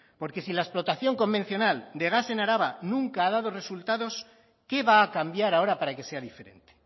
porque si la explotación convencional de gas en araba nunca ha dado resultados qué va a cambiar ahora para que sea diferente